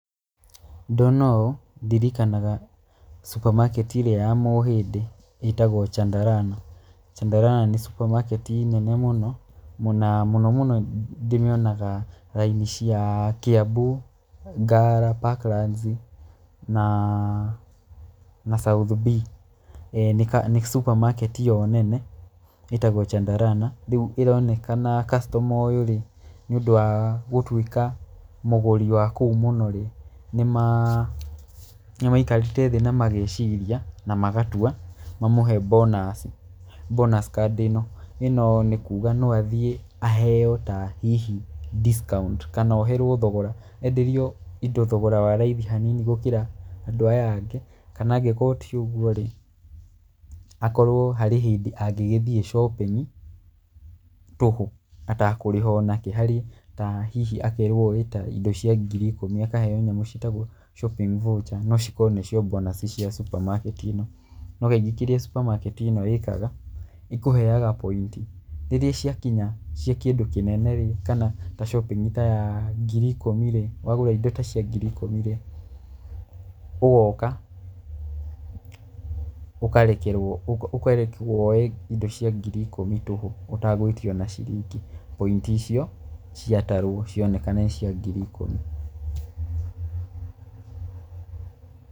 Ndona ũũ ndirikanaga supermarket ĩrĩa ya Mũhĩndĩ ĩtagwo Chandarana. Chandarana nĩ supermarket nene mũno na mũno mũno ndĩmĩonaga raini cia Kiambu, Ngara, Parklands na South B. Nĩ supermarket yo nene ĩtagwo Chandarana. Rĩu ĩronekana customer ũyũ nĩ rĩ, nĩ ũndũ wa gũtuĩka mũgũri wa kũu mũno rĩ, nĩ maikarĩte thĩ na mageciria na magatua mamũhe bonus card ĩno. ĩno nĩ kuga atĩ no athiĩ aheo ta hihi discount kana oherwo thogora enderio indo thogora wa raithi hanini gũkĩra andũ aya angĩ. Kana angĩkorwo ti ũguo rĩ, akorwo harĩ hĩndĩ angĩgĩthiĩ shopping tũhũ atakũrĩha ona kĩ. Harĩ ta hihi akerwo oe ta indo cia ngiri ikũmi, akaheo nyamũ ciĩtagwo shopping voucher no cikorwo nĩcio bonus cia supermarket ĩno. No kaingĩ kĩrĩa supermarket ĩno ĩkaga ĩkũheaga point, rĩrĩa ciakinya cia kĩndũ kĩnene kana ta shopping ta ya ngiri ikũmi rĩ, wagũra indo ta cia ngiri ikũmi ri, ũgoka ũkarekwo woe indo cia ngiri ikũmi tũhũ ũtagwĩtio ona ciringi point icio ciatarwo cioneka nĩ cia ngiri ikũmi.